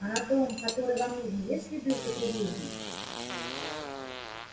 а на том который вам нужен есть следы употребления